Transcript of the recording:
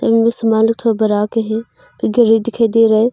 थोड़ा बड़ा के हैं फिर गाड़ी दिखाई दे रहा है।